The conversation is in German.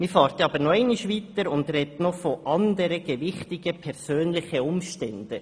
Man geht aber noch weiter und spricht zusätzlich von «anderen gewichtigen […] Umständen».